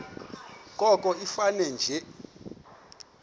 koko ifane nje